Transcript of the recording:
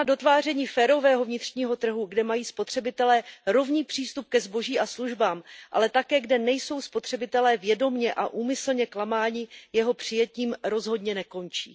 Práce na dotváření férového vnitřního trhu, kde mají spotřebitelé rovný přístup ke zboží a službám, ale také kde nejsou spotřebitelé vědomě a úmyslně klamáni, jeho přijetím rozhodně nekončí.